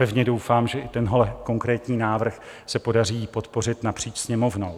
Pevně doufám, že i tenhle konkrétní návrh se podaří podpořit napříč Sněmovnou.